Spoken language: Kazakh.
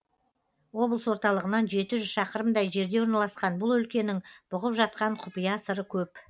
облыс орталығынан жеті жүз шақырымдай жерде орналасқан бұл өлкенің бұғып жатқан құпия сыры көп